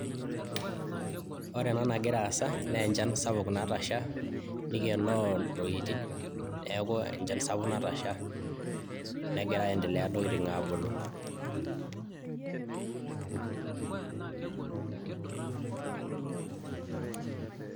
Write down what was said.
Ore ena nagira aas naa enchan sapuk natasha nikienoo ntokitin niaku enchan sapuk natasha negeira aendelea ntokitin abulu.